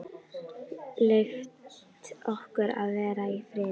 Leyft okkur að vera í friði?